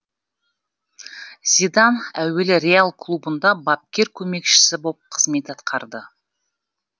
зидан әуелі реал клубында бапкер көмекшісі боп қызмет атқарды